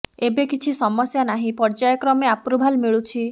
ଏବେ କିଛି ସମସ୍ୟା ନାହିଁ ପର୍ଯ୍ୟାୟ କ୍ରମେ ଆପ୍ରୁଭାଲ ମିଳୁଛି